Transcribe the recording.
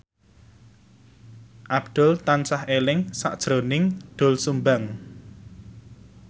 Abdul tansah eling sakjroning Doel Sumbang